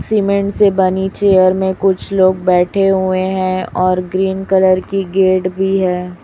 Cement से बनी chair में कुछ लोग बैठे हुए हैं और ग्रीन कलर की गेट भी है।